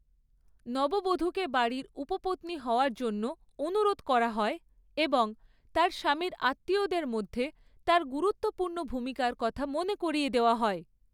নববধূকে বাড়ির উপপত্নী হওয়ার জন্য অনুরোধ করা হয় এবং তার স্বামীর আত্মীয়দের মধ্যে তার গুরুত্বপূর্ণ ভূমিকার কথা মনে করিয়ে দেওয়া হয়।